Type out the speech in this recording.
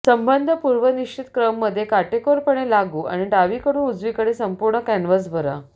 संबंध पूर्वनिश्चित क्रम मध्ये काटेकोरपणे लागू आणि डावीकडून उजवीकडे संपूर्ण कॅनव्हास भरा